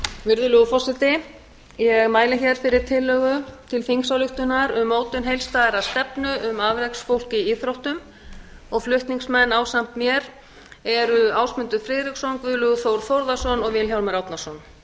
virðulegur forseti ég mæli hér fyrir tillögu til þingsályktunar um mótun heildstæðrar stefnu um afreksfólk í íþróttum flutningsmenn ásamt mér eru ásmundur friðriksson guðlaugur þór þórðarson og vilhjálmur árnason